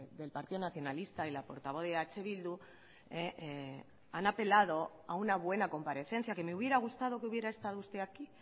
del partido nacionalista y la portavoz de eh bildu han apelado a una buena comparecencia que me hubiera gustado que hubiera estado usted aquí